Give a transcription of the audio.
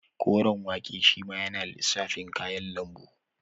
Koren wake shima yana lissafin kayan lambu